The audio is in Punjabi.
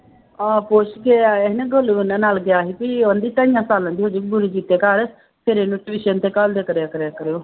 ਹਾਂ ਪੁੱਛ ਕੇ ਆਇਆ ਸੀ ਨਾ ਗੋਲੂ ਇਹਨਾਂ ਨਾਲ ਗਿਆ ਸੀ ਵੀ ਕਹਿੰਦੀ ਤਿੰਨ ਸਾਲਾਂ ਦੀ ਹੋ ਜਾਊਗੀ ਫਿਰ ਇਹਨੂੰ tuition ਤੇ ਘੱਲਦਿਆ ਕਰਿਆ ਕਰਿਆ ਕਰਿਓ